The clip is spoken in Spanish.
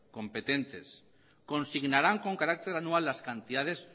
competentes consignarán con carácter anual las cantidades